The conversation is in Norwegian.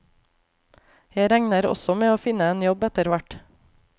Jeg regner også med å finne en jobb etter hvert.